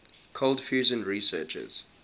cold fusion researchers